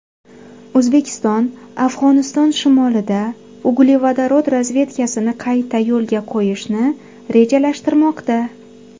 O‘zbekiston Afg‘oniston shimolida uglevodorod razvedkasini qayta yo‘lga qo‘yishni rejalashtirmoqda.